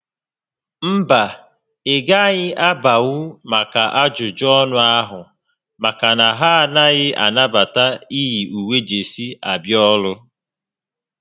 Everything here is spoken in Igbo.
Mba, ị gaghị abanwu maka ajụjụ ọnụ ahụ maka na ha anaghị anabata iyi uwe jesii abịa ọrụ